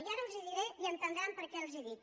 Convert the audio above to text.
i ara els ho diré i enten·dran per què els ho dic